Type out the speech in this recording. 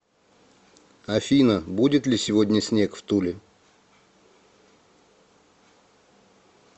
афина будет ли сегодня снег в туле